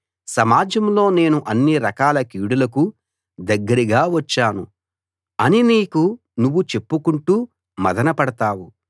సమాజంలో నేను అన్ని రకాల కీడులకు దగ్గరగా వచ్చాను అని నీకు నువ్వు చెప్పుకుంటూ మధనపడతావు